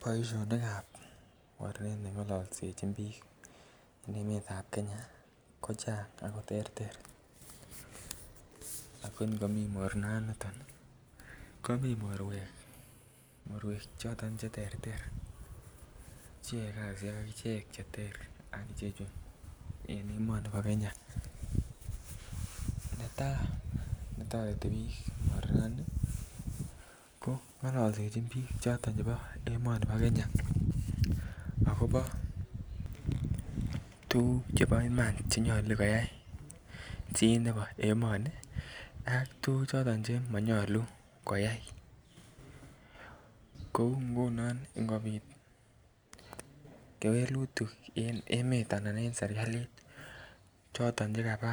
Boisinikab mornet nengolsechin bik en emetab Kenya ko chang ako terter ako ngomii mornani komi mornwek choton Che terter Che yae kasisyek Che ter en emoni bo Kenya netai ko toreti bik mornani amun ngollisechin bik choton chebo emoni bo Kenya agobo tuguk chebo Iman Che nyolu koyai chi nebo emoni ak tuguk choto chemo nyolu koyai kou ngunon angot bit kewelutik en emet anan en serkalit choton Chekaba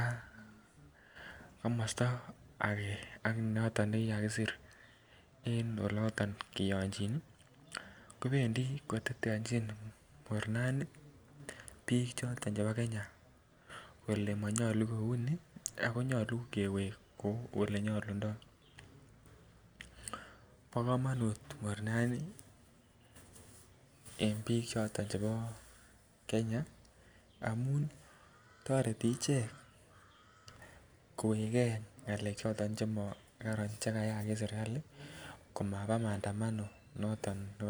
komosta noton age nekikasir en oloto kikokiyonchin ii kobendi koteteanjin mornani bik choton chebo kenya kole mouni ako nyolu kewek kou Ole nyolundoi bo kamanut mornani en bik choton chebo kenya toreti ichek koweke ngalek choton che mokoron en serkali ko maba maandamano